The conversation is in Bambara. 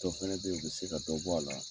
Dɔw fɛnɛ be ye, u be se ka dɔ bɔ a la